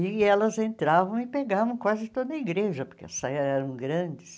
E elas entravam e pegavam quase toda a igreja, porque as saias eram grandes.